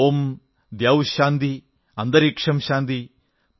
ഓം ദ്യൌഃ ശാന്തിഃ അന്തരിക്ഷം ശാന്തിഃ